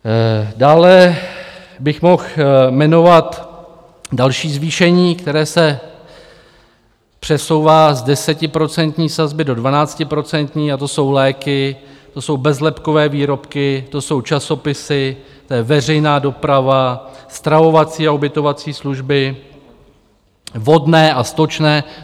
Dále bych mohl jmenovat další zvýšení, které se přesouvá z desetiprocentní sazby do dvanáctiprocentní, a to jsou léky, to jsou bezlepkové výrobky, to jsou časopisy, to je veřejná doprava, stravovací a ubytovací služby, vodné a stočné.